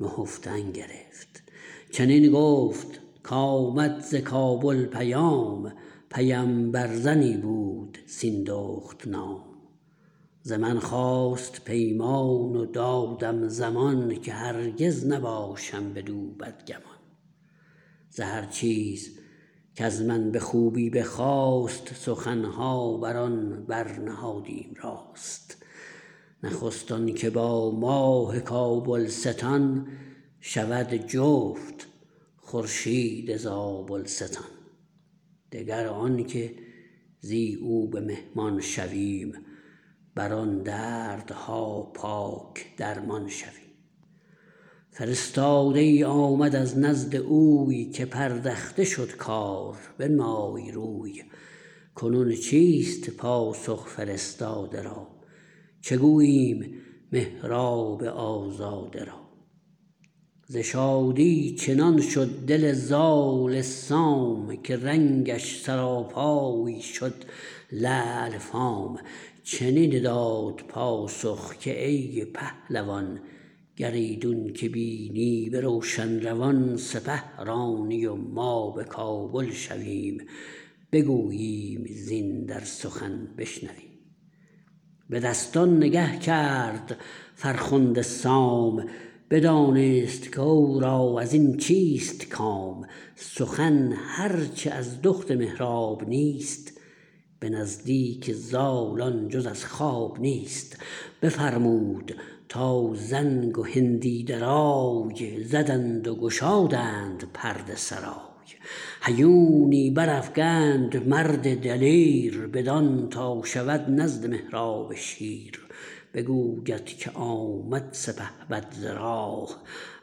نهفتن گرفت چنین گفت کامد ز کابل پیام پیمبر زنی بود سیندخت نام ز من خواست پیمان و دادم زمان که هرگز نباشم بدو بدگمان ز هر چیز کز من به خوبی بخواست سخنها بران برنهادیم راست نخست آنکه با ماه کابلستان شود جفت خورشید زابلستان دگر آنکه زی او به مهمان شویم بران دردها پاک درمان شویم فرستاده ای آمد از نزد اوی که پردخته شد کار بنمای روی کنون چیست پاسخ فرستاده را چه گوییم مهراب آزاده را ز شادی چنان شد دل زال سام که رنگش سراپای شد لعل فام چنین داد پاسخ که ای پهلوان گر ایدون که بینی به روشن روان سپه رانی و ما به کابل شویم بگوییم زین در سخن بشنویم به دستان نگه کرد فرخنده سام بدانست کورا ازین چیست کام سخن هر چه از دخت مهراب نیست به نزدیک زال آن جز از خواب نیست بفرمود تا زنگ و هندی درای زدند و گشادند پرده سرای هیونی برافگند مرد دلیر بدان تا شود نزد مهراب شیر بگوید که آمد سپهبد ز راه